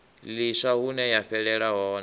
ḽiswa hune ya fhelela hone